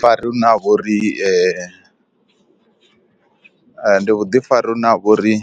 Vhuḓifari hune ha vha uri ndi vhuḓifari hune ha vha uri